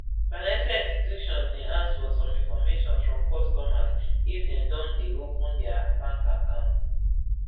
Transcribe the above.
financial institutions dey ask for some information from customers if dem don dey open dia bank account